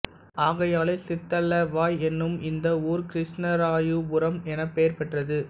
ஆகையாலே சித்தலவாய் எனும் இந்த ஊர் கிருஷ்ணராயபுரம் எனப்பெயர் பெற்றது